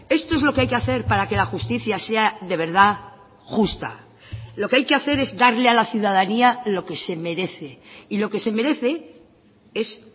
esto es lo que hay que hacer para que la justicia sea de verdad justa lo que hay que hacer es darle a la ciudadanía lo que se merece y lo que se merece es